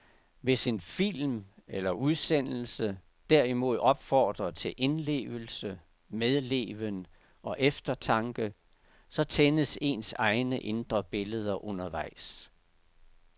Hvis en film eller udsendelse derimod opfordrer til indlevelse, medleven og eftertanke, så tændes ens egne indre billeder undervejs.